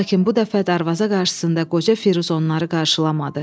Lakin bu dəfə darvaza qarşısında qoca Firuz onları qarşılamadı.